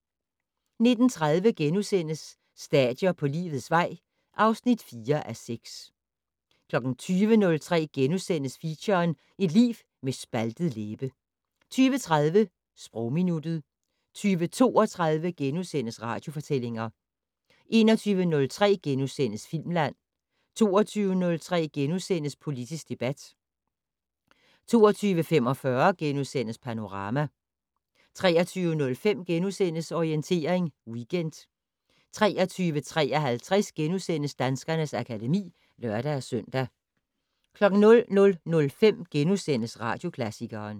19:30: Stadier på livets vej (4:6)* 20:03: Feature: Et liv med en spaltet læbe * 20:30: Sprogminuttet 20:32: Radiofortællinger * 21:03: Filmland * 22:03: Politisk debat * 22:45: Panorama * 23:05: Orientering Weekend * 23:53: Danskernes akademi *(lør-søn) 00:05: Radioklassikeren *